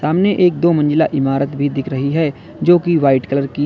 सामने एक दो मंजिला इमारत भी दिख रही है जो की वाइट कलर की है।